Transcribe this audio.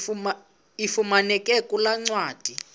ifumaneka kule ncwadi